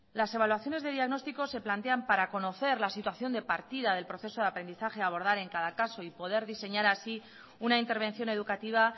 las evaluaciones de diagnóstico se plantean para conocer la situación de partida del proceso de aprendizaje de abordar a cada caso y poder diseñar así una intervención educativa